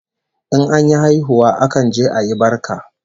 In an yi haihuwa akan je ayi barka